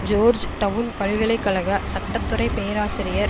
George down பல்கலை கழக சட்ட துறை பேராசிரியர்